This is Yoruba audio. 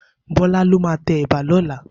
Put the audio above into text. Bola ló má tè èbà lòlá